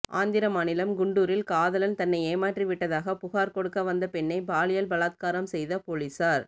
ஆந்திர மாநிலம் குண்டூரில் காதலன் தன்னை ஏமாற்றிவிட்டதாக புகார் கொடுக்க வந்த பெண்ணை பாலியல் பலாத்காரம் செய்த போலீசார்